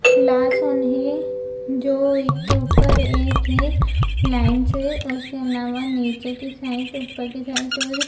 glass है जो एक के ऊपर एक है लाइन से उसके आलावा नीचे के साइड ऊपर के साइड और --